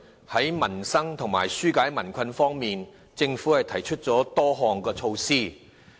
在民生及紓解民困方面，政府提出了多項措施。